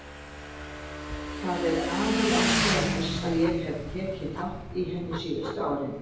Það er aðalástæða þess að ég hef tekið þátt í henni síðustu árin.